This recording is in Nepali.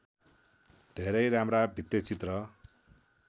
धेरै राम्रा भित्तेचित्र